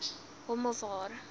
hom of haar